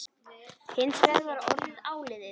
Hins vegar var orðið áliðið.